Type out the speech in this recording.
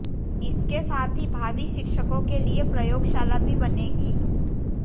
इसके साथ ही भावी शिक्षकों के लिए प्रयोगशाला भी बनेगी